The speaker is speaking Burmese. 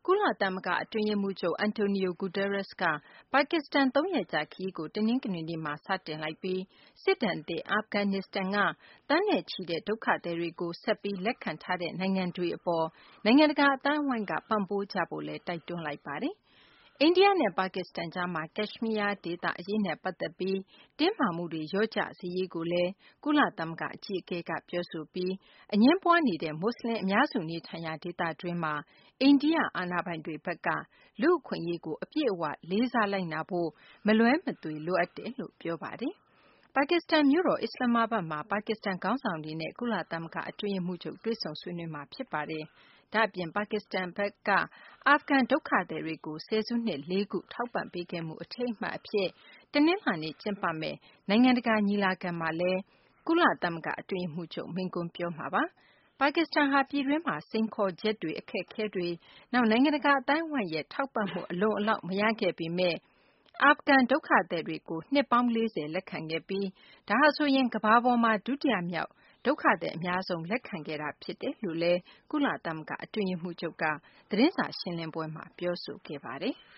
ုလသမဂ္ဂ အတွင်းရေးမှူးချုပ် Antonio Guterres က ပါကစ္စတန် သုံးရက်ကြာခရီးကို တနင်္ဂနွေနေ့မှာ စတင်လိုက်ပြီး စစ်ဒဏ်သင့် အာဖဂန်နစ္စတန်က သန်းနဲ့ချီတဲ့ ဒုက္ခသည်တွေကို ဆက်ပြီးလက်ခံထားတဲ့ နိုင်ငံတွေအတွက် နိုင်ငံတကာ အသိုင်းအဝိုင်းက ပံ့ပိုးကြဖို့လည်း တိုက်တွန်းလိုက်ပါတယ်။ အိန္ဒိယနဲ့ ပါကစ္စတန်ကြားမှာ ကက်ရှ်မီးယားဒေသအရေးနဲ့ ပတ်သက်ပြီး တင်းမာမှုတွေ လျော့ကျစေရေးကိုလည်း ကုလသမဂ္ဂ အကြီးအကဲက ပြောဆိုပြီး အငြင်းပွားနေတဲ့ မွတ်စလင်အများစု နေထိုင်ရာ ဒေသတွင်းမှာ အိန္ဒိယ အာဏာပိုင်တွေဘက်က လူ့အခွင့်အရေးကို အပြည့်အ၀ လေးစားလိုက်နာဖို့ မလွဲမသွေ လိုအပ်တယ်လို့လည်း ပြောဆိုခဲ့ပါတယ်။ ပါကစ္စတန်မြို့တော် အစ္စလာမ္မာဘတ်မှာ ပါကစ္စတန် ခေါင်းဆောင်တွေနဲ့ ကုလသမဂ္ဂ အတွင်းရေးမှူးချုပ် တွေ့ဆုံဆွေးနွေးမှာ ဖြစ်ပါတယ်။ ဒါ့အပြင် ပါကစ္စတန်ဘက်က အာဖဂန်ဒုက္ခသည်တွေကို ဆယ်စုနှစ် ၄ ခု ထောက်ပံ့ပေးခဲ့မှု အထိမ်းအမှတ်အဖြစ် တနင်္လာနေ့ ကျင်းပမယ့် နိုင်ငံတကာ ညီလာခံမှာလည်း ကုလသမဂ္ဂ အတွင်းရေးမှူးချုပ် မိန့်ခွန်းပြောမှာ ဖြစ်ပါတယ်။ ပါကစ္စတန်ဟာ ပြည်တွင်းမှာ စိန်ခေါ်ချက် အခက်အခဲတွေ၊ နောက် နိုင်ငံတကာ အသိုင်းအဝိုင်းရဲ့ ထောက်ပံ့မှု အလုံအလောက် မရခဲ့ပေမယ့် အာဖဂန် ဒုက္ခသည်တွေကို နှစ်ပေါင်း ၄၀ လက်ခံခဲ့ပြီး ဒါဟာဆိုရင် ကမ္ဘာပေါ်မှာ ဒုတိယမြောက် ဒုက္ခသည်အများဆုံး လက်ခံခဲ့တာလည်း ဖြစ်တယ်လို့ ကုလသမဂ္ဂ အတွင်းရေးမှူးချုပ်က သတင်းစာရှင်းလင်းပွဲမှာ ပြောဆိုခဲ့ပါတယ်။